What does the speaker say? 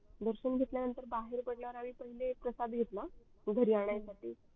दर्शन घेतल्या नंतर बाहेर पडल्यावर पहिले आम्ही प्रसाद घेतला घरी आणासाठि